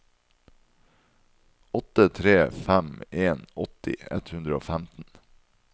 åtte tre fem en åtti ett hundre og femten